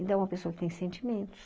Então, é uma pessoa que tem sentimentos.